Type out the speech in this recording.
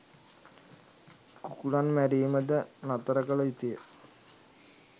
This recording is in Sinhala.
කුකුළන් මැරීමද නතර කළ යුතු ය.